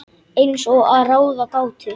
Eins og að ráða gátu.